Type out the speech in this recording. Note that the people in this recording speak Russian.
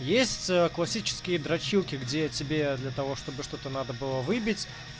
есть э классические дрочилки где тебе для того чтобы что-то надо было выбить